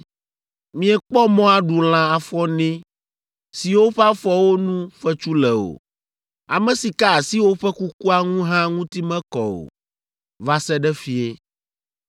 Miekpɔ mɔ aɖu lã afɔene siwo ƒe afɔwo nu fetsu le o. Ame si ka asi woƒe kukua ŋu hã ŋuti mekɔ o, va se ɖe fiẽ.